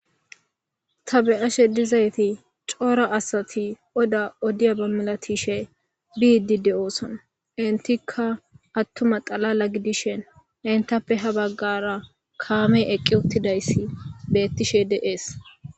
Ta be7ashe dizayti cora asati odda odiyabba milatishe biide de7oosona. Entikka attuma xaala gidishin entappe ha bagara kaame eqqi uttidayssi beetishe de7ees.